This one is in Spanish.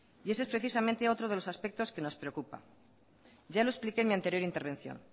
y ese es precisamente otro de los aspectos que nos preocupa ya lo expliqué en mi anterior intervención